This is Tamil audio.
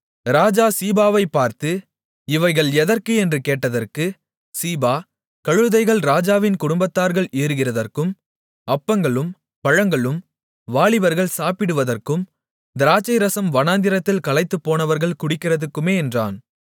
ராஜா சீபாவைப்பார்த்து இவைகள் எதற்கு என்று கேட்டதற்கு சீபா கழுதைகள் ராஜாவின் குடும்பத்தார்கள் ஏறுகிறதற்கும் அப்பங்களும் பழங்களும் வாலிபர்கள் சாப்பிடுவதற்கும் திராட்சைரசம் வனாந்திரத்தில் களைத்துப்போனவர்கள் குடிக்கிறதற்குமே என்றான்